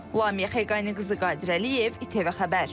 Lamiyə Xəqani qızı Qədirəliyev, ITV Xəbər.